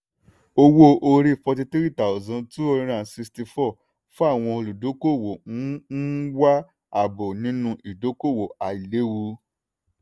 owó-orí forty three thousand two hundred and sixty four fawọn olùdókòwò ń ń wá ààbò nínú ìdókòwò àìléwu.